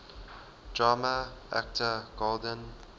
drama actor golden